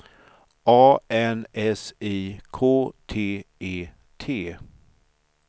A N S I K T E T